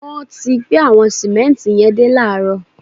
Wọ́n ti gbé àwọn sìmẹ́ǹtì yẹn dé láààrọ̀